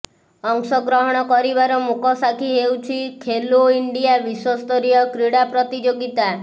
ଅଂଶଗ୍ରହଣ କରିବାର ମୂକସାକ୍ଷୀ ହେଉଛି ଖେଲୋ ଇଣ୍ଡିଆ ବିଶ୍ୱସ୍ତରୀୟ କ୍ରୀଡା ପ୍ରତିଯୋଗୀତା